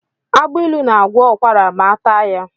Agbailu na-agwọ ụkwara ma ataa ya.